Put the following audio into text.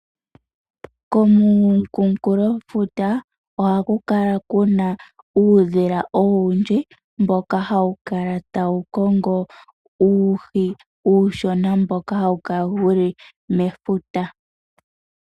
Komunkulofuta ohaku kala kuna uudhila owundji mboka hawu kala tawu kongo uuhi uushona mboka hawu kala wuli mefuta.